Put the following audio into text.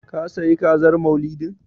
Ka sayi Kazar Maulidin?